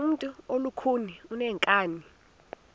ngumntu olukhuni oneenkani